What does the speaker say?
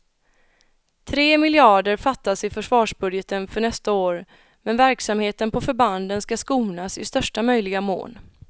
Tre miljarder fattas i försvarsbudgeten för nästa år, men verksamheten på förbanden ska skonas i största möjliga mån.